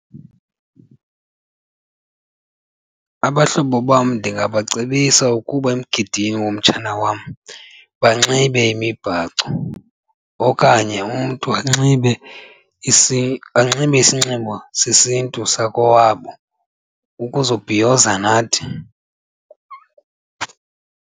Abahlobo bam ndingabacebisa ukuba emgidini womtshana wam banxibe imibhaco kanye umntu anxibe isinxibo sesiNtu sakowabo ukuzobhiyoza nathi.